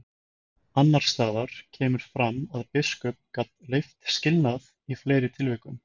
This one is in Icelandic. Annars staðar kemur fram að biskup gat leyft skilnað í fleiri tilvikum.